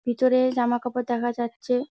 ভিতরে জামা কাপড় দেখা যাচ্ছে।